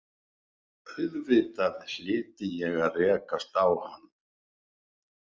Auðvitað hlyti ég að rekast á hann.